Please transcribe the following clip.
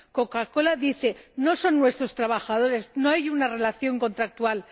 Coca Cola dice No son nuestros trabajadores, no hay una relación contractual.